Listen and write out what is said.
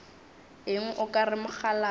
eng o ka re mokgalabje